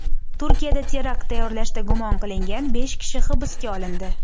Turkiyada terakt tayyorlashda gumon qilingan besh kishi hibsga olindi.